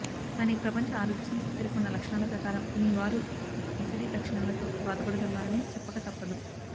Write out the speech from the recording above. కానీ ప్రపంచ ఆరోగ్య సంస్థ పేర్కొన్న లక్షణాల ప్రకారం మీ వారు ఒసిడి లక్షణాలతో బాఢపడుతున్నారని చెప్పకతప్పదు